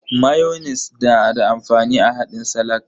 Mayonis na da amfani a haɗin salak.